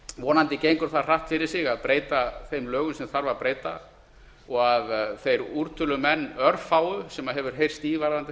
vonandi gengur það hratt fyrir sig að breyta þeim lögum sem þarf að breyta og að þeir úrtölumenn örfáu sem maður hefur heyrt í varðandi